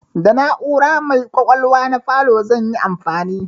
Da na'ura mai ƙwaƙwalwa na falo zan yi amfani.